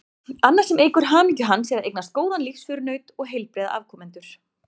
Annað sem eykur hamingju hans er að eignast góðan lífsförunaut og heilbrigða afkomendur.